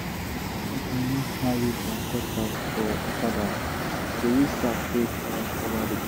anytime i wan carry my cutlass for okada i dey use sack take um cover the blade